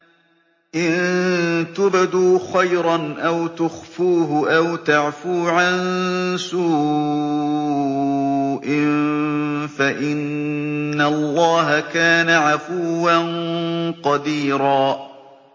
إِن تُبْدُوا خَيْرًا أَوْ تُخْفُوهُ أَوْ تَعْفُوا عَن سُوءٍ فَإِنَّ اللَّهَ كَانَ عَفُوًّا قَدِيرًا